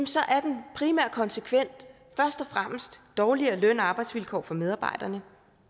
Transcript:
så er den primære konsekvens først og fremmest dårligere løn og arbejdsvilkår for medarbejderne